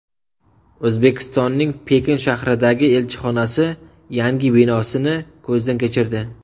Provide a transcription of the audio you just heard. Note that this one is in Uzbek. O‘zbekistonning Pekin shahridagi elchixonasi yangi binosini ko‘zdan kechirdi .